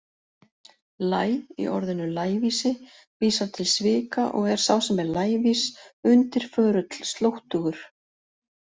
Læ- í orðinu lævísi vísar til svika og er sá sem er lævís undirförull, slóttugur.